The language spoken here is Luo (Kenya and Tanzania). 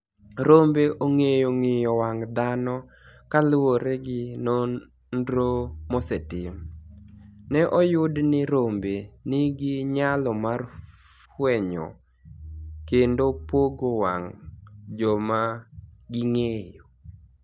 Rombe onig'eyo nig'iyo wanig' dhano kaluwore gi noniro mosetim, ni e oyud nii rombe niigi niyalo mar fweniyo kenido pogo wanig ' joma ginig'eyo.